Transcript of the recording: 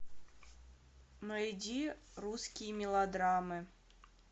найди русские мелодрамы